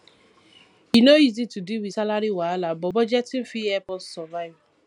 e no easy to deal with salary wahala but budgeting fit help us survive